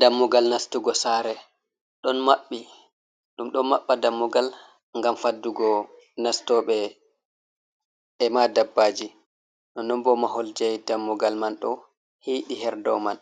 Dammugal nastugo sare don mabbi ɗum ɗo mabba dammugal ngam faddugo nastoɓe ema ɗabbaji non non bo mahol jai dammugal man ɗo hiɗi herdoman